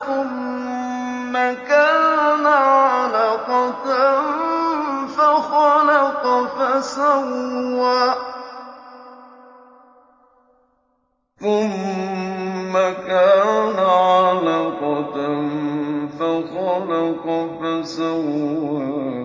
ثُمَّ كَانَ عَلَقَةً فَخَلَقَ فَسَوَّىٰ